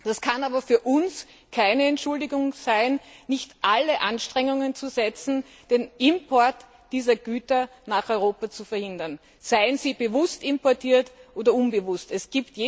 Das kann aber für uns keine Entschuldigung sein, nicht alle Anstrengungen zu unternehmen, den Import dieser Güter nach Europa zu verhindern, seien sie bewusst oder unbewusst importiert.